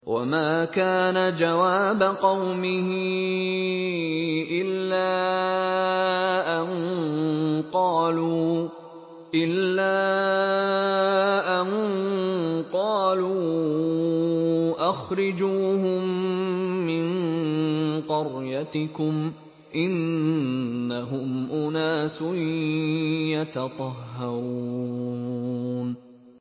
وَمَا كَانَ جَوَابَ قَوْمِهِ إِلَّا أَن قَالُوا أَخْرِجُوهُم مِّن قَرْيَتِكُمْ ۖ إِنَّهُمْ أُنَاسٌ يَتَطَهَّرُونَ